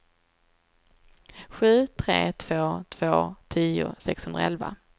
sju tre två två tio sexhundraelva